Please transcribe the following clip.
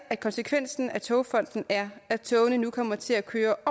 at konsekvensen af togfonden er at togene kommer til at køre